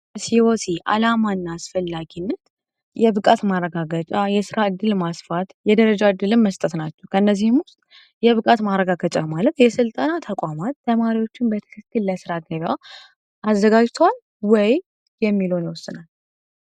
የሲወሲ አላማ እና አስፈላጊነት የብቃት ማረጋገጫ ፣የስራ እድል ማስፋት ፣የደረጃ እድገት መመስጠት ነው። ከእዚህም ውስጥ የብቃት ማረጋገጫ ማለት የስልጠና ተቋማት ተማሪዎችን በትክክል ለስራ አዘጋጅቷል ወይ የሚለውን